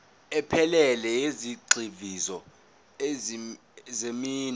ephelele yezigxivizo zeminwe